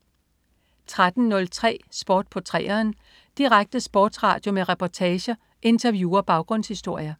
13.03 Sport på 3'eren. Direkte sportsradio med reportager, interview og baggrundshistorier